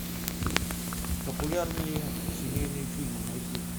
популярные семейные фильмы найти